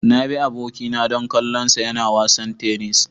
Na bi abokina don kallonsa yana wasan tennis.